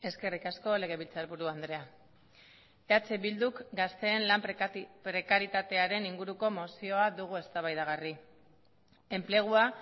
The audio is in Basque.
eskerrik asko legebiltzarburu andrea eh bilduk gazteen lan prekarietatearen inguruko mozioa dugu eztabaidagarri enplegua